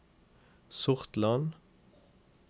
Sortland